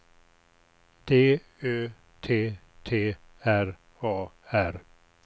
D Ö T T R A R